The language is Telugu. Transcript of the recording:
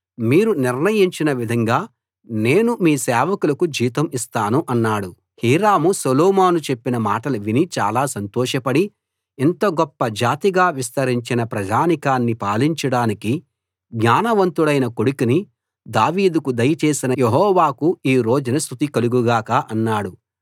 మీరు నిర్ణయించిన విధంగా నేను మీ సేవకులకు జీతం ఇస్తాను అన్నాడు హీరాము సొలొమోను చెప్పిన మాటలు విని చాలా సంతోషపడి ఇంత గొప్ప జాతిగా విస్తరించిన ప్రజానీకాన్ని పాలించడానికి జ్ఞానవంతుడైన కొడుకుని దావీదుకు దయచేసిన యెహోవాకు ఈ రోజున స్తుతి కలుగు గాక అన్నాడు